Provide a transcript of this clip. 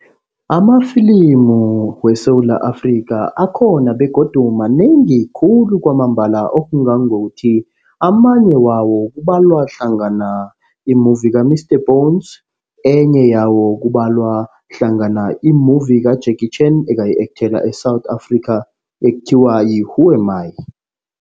Amafilimu weSewula Afrika akhona begodu manengi khulu kwamambala. Okungangokuthi amanye wawo kubalwa hlangana i-movie ka-Mr Bones. Enye yawo kubalwa hlangana i-movie ka-Jackie China ekayi-ekthela eSewula Afrika ekuthiwa yi-Who Am I.